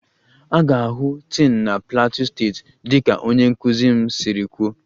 A ga-ahụ tin na plateau steeti dịka onye nkuzi m siri kwuo